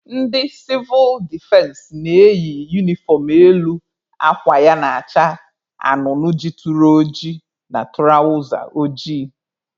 Ndị sivụl defense na-eyi unifọm elu akwa ya na-acha anụnụ jituru oji na tụrawza ojii.